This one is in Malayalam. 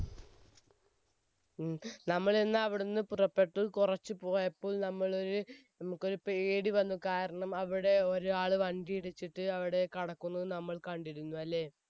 ഉം. നമ്മൾ എന്നാൽ അവിടെ നിന്നും പുറപ്പെട്ടു, കുറച്ചു പോയപ്പോൾ നമ്മളൊരു~നമുക്കൊരു പേടിവന്നു, കാരണം അവിടെ ഒരാൾ വണ്ടിയിടിച്ചിട്ട് അവിടെ കിടക്കുന്നത് നമ്മൾ കണ്ടിരുന്നു അല്ലെ?